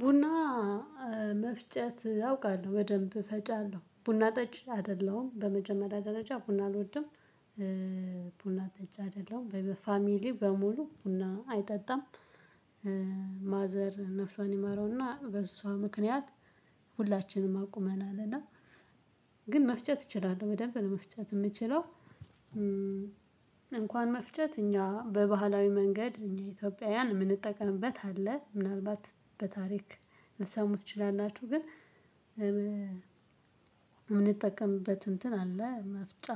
ቡና መፍጨት አውቃለሁ በደንብ ፈጫለሁ ቡና ጠጭ አይደለሁም በመጀመሪያ ደረጃ ቡና አልወድም። ቡና ጠጪ አይደለሁም በፋሚሊ በሙሉ ቡና አይጠጣም። ማዘር ነፍሷን ይማረውና በእሷ ምክንያት ሁላችንም አቁመናልና። እና ግን መፍጨት እችላለሁ በደንብ መፍጨት የምችለው። እንኳን መፍጨት እኛ በባህላዊ መንገድ እኛ ኢትዮጵያውያን የምንጠቀምበት አለ ምናልባት በታሪክ ልትሰሙ ትችላላችሁ። ግን እውን የምንጠቀምበት እንትን አለ መፍጫ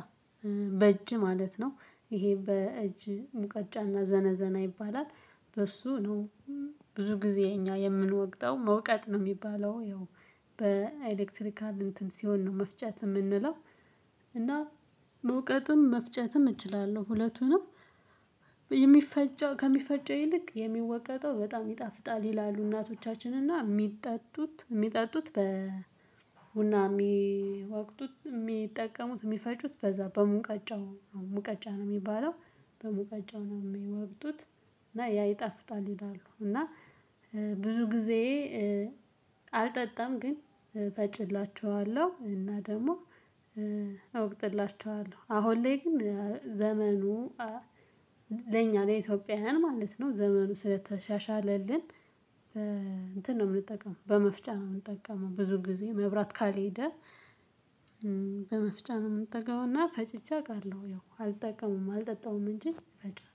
በእጅ ማለት ነው። ይሄ በእጅ ሙቀጫና ዘነዘና ይባላል። በሱ ነው። ብዙ ጊዜ እኛ የምንወቅጠው መውቀጥ ነው የሚባለው ያው በኤሌክትሪካል እንትን ሲሆን ነው መፍጨት የምንለው። እና መውቀጥም መፍጨትም እችላለሁ ሁለቱንም። የሚፈጨው ከሚፈጨው ይልቅ የሚወቀጠው በጣም ይጣፍጣል ይላሉ እናቶቻችን እና የሚጠጡት የሚጠጡት በ ቡና የሚወቅጡት የሚጠቀሙት የሚፈጩት በዛ በሙቀጫው ነው። ሙቀጫ ነው የሚባለው በሙቀጫው ነው የሚወቅጡት። እና ያ ይጣፍጣል ይላሉ። እና ብዙ ጊዜ አልጠጣም ግን እፈጭላችኋለሁ እና ደግሞ እወቅጥላችኋለሁ። አሁን ላይ ግን ዘመኑ ለኛ ለኢትዮጵያውያን ማለት ነው ዘመኑ ስለተሻሻለልን። እንትን ነው የምንጠቀመው በመፍጫ ነው የምንጠቀመው ብዙ ጊዜ መብራት ካልሄደ። በመፍጫ ነው የምንጠቀመው እና ፈጭቼ አውቃለሁ ያው አልጠቀምም አልጠጣም እንጂ ፈጫለሁ።